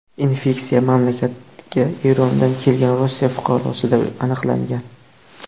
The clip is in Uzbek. Infeksiya mamlakatga Erondan kelgan Rossiya fuqarosida aniqlangan.